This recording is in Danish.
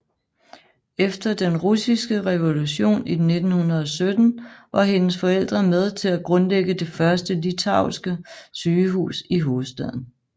Efter den russiske revolution i 1917 var hendes forældre med til at grundlægge det første litauiske sygehus i hovedstaden